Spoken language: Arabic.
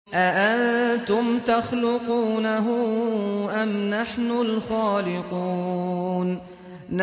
أَأَنتُمْ تَخْلُقُونَهُ أَمْ نَحْنُ الْخَالِقُونَ